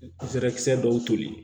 kisɛ dɔw toli